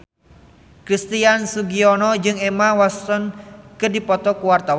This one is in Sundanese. Christian Sugiono jeung Emma Watson keur dipoto ku wartawan